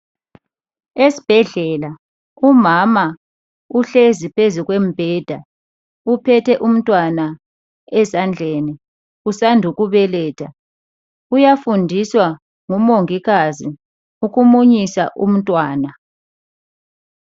Esibhedlela umama uhlezi phezu kombheda uphethe umntwana ezandleni usandukubeletha. Uyafundiswa ngumongikazi ukumunyisa umntwana.